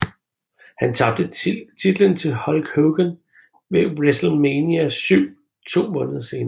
Han tabte titlen til Hulk Hogan ved WrestleMania VII to måneder senere